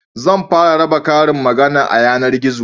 Zan fara raba karin magana a yanargizo